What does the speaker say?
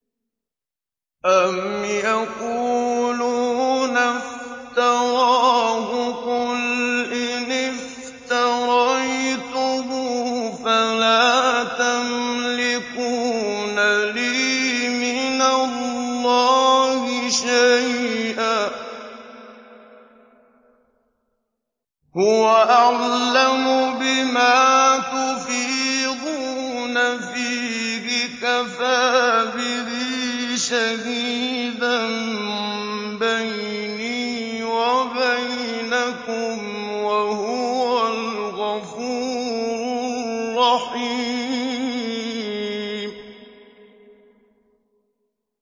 أَمْ يَقُولُونَ افْتَرَاهُ ۖ قُلْ إِنِ افْتَرَيْتُهُ فَلَا تَمْلِكُونَ لِي مِنَ اللَّهِ شَيْئًا ۖ هُوَ أَعْلَمُ بِمَا تُفِيضُونَ فِيهِ ۖ كَفَىٰ بِهِ شَهِيدًا بَيْنِي وَبَيْنَكُمْ ۖ وَهُوَ الْغَفُورُ الرَّحِيمُ